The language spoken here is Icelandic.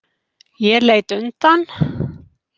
Ég leit undan.